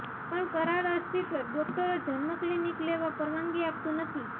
પણ કરાર અસ્તિત્વ ડોકટરો જન્મ ક્લિનિક લેવા પરવાનગી આપતું નથી